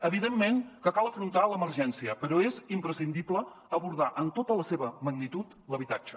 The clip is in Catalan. evidentment que cal afrontar l’emergència però és imprescindible abordar en tota la seva magnitud l’habitatge